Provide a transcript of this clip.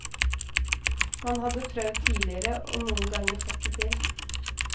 Man hadde prøvd tidligere, og noen ganger fått det til.